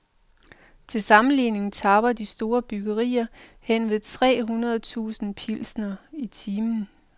Til sammenligning tapper de store bryggerier henved tre hundrede tusind pilsnere, i timen.